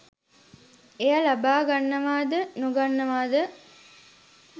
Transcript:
එය ලබා ගන්නවාද නොගන්නවාද